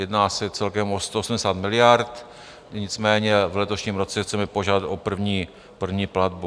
Jedná se celkem o 180 miliard, nicméně v letošním roce chceme požádat o první platbu.